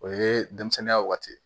O ye denmisɛnninya waati ye